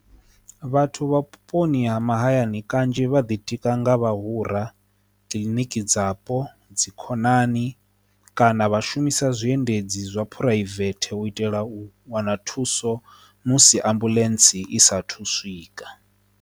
Vhathu vha vhuponi ha mahayani kanzhi vha ḓi tika nga vhahura kiḽiniki dzapo dzi khonani kana vha shumisa zwiendedzi zwa phuraivethe u itela u wana thuso musi ambuḽentse i sa thu swika.